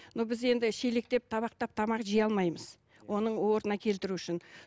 но біз енді шелектеп табақтап тамақ жей алмаймыз оның орнына келтіру үшін